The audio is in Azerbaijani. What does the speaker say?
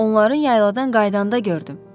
Onların yayladan qayıdanda gördüm.